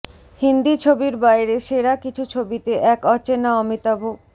হিন্দি ছবির বাইরে সেরা কিছু ছবিতে এক অচেনা অমিতাভ